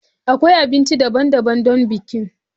Akwai abinci daban-daban don bikin.